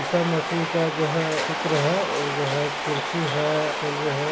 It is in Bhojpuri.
इसामसीह का जो है चित्र है और जो है कुर्सी है और जो है--